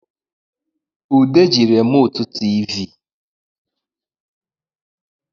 Ude ji remụtụ tịvị